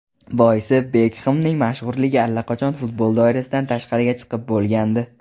Boisi Bekhemning mashhurligi allaqachon futbol doirasidan tashqariga chiqib bo‘lgandi.